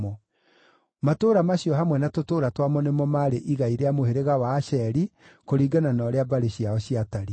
Matũũra macio hamwe na tũtũũra twamo nĩmo maarĩ igai rĩa mũhĩrĩga wa Asheri, kũringana na ũrĩa mbarĩ ciao ciatariĩ.